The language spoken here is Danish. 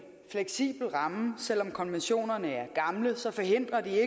fleksibel ramme selv om konventionerne er gamle forhindrer de